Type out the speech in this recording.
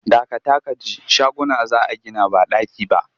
Dakata ka ji shaguna za a gina ba ɗaki ba!